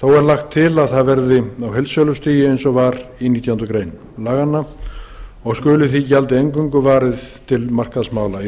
þó er lagt til að það verði á heildsölustigi eins og var í nítjánda grein laganna og skuli því gjaldi eingöngu varið til markaðsmála